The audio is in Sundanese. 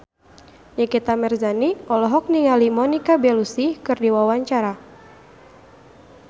Nikita Mirzani olohok ningali Monica Belluci keur diwawancara